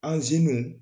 Anziniw